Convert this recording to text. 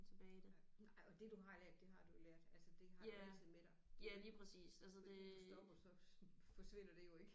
Ja nej og det du har lært det har du jo lært altså det har du jo altid med dig det hvis du stopper så forsvinder det jo ikke